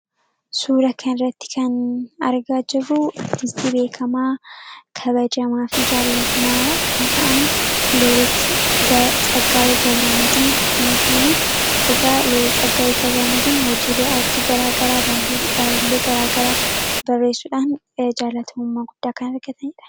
Suura kana irratti kan argaa jirruu artistii beekamaa kabajamaa fi jaalatamaa kan ta'anii looreet Tsaggaa'ee Gabramadiin yoo ta'an egaa looreet Tsaggaa'e Gabramadiin hojiilee artii garaa garaa baarruulee garaa garaa barreessuudhaan jaallatamummaa guddaa kan argatandha.